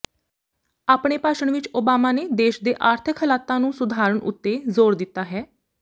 ਆਪਣੇ ਭਾਸ਼ਣ ਵਿੱਚ ਓਬਾਮਾ ਨੇ ਦੇਸ਼ ਦੇ ਆਰਥਕ ਹਾਲਾਤਾਂ ਨੂੰ ਸੁਧਾਰਣ ਉੱਤੇ ਜ਼ੋਰ ਦਿੱਤਾ ਹੈ